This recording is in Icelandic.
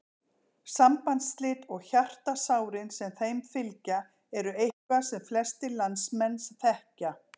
Sambandsslit og hjartasárin sem þeim fylgja eru eitthvað sem flestir landsmenn þekkja.